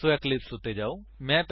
ਸੋ eclipse ਉੱਤੇ ਜਾਓ